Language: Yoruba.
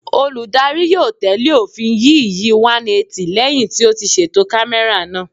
Olùdarí yóò tẹ̀lé òfin yíÌyí 180 lẹ́hìn tí ó ti ṣètò kámẹ́rà náà.